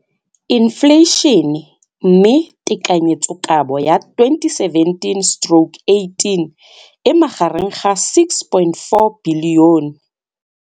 Infleišene, mme tekanyetsokabo ya 2017 stroke 18 e magareng ga 6.4 bilione.